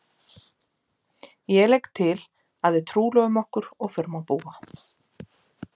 Ég legg til að við trúlofum okkur og förum að búa.